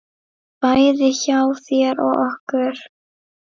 Bæði hjá þér og okkur.